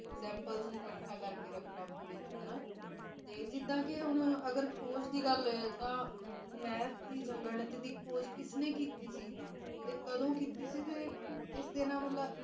sample ਨੂੰ ਇਕੱਠਾ ਕਰ ਕ ਰੱਖਣਾ ਨਾ ਪੂਰੀ ਤਰ੍ਹਾਂ ਤੇ ਜਿੱਡਾ ਦੁ ਖੋਜ ਦੀ ਦਲ ਹੈ ਤੇ ਮੈਥ ਦੀ ਗਾਨਿਥ ਦੀ ਖੋਜ ਕਿੰਨੇ ਕਿੱਤੀ ਸੀ ਤੇ ਕਾਡਾਂ ਕਿੱਤੀ ਸੀ ਕ ਮਤਲਬ